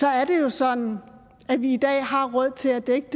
er det jo sådan at vi i dag har råd til at dække